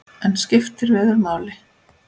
En skiptir veður máli?